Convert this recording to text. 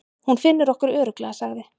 Hún finnur okkur örugglega, sagði